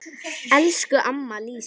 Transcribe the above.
Elsku amma Lísa.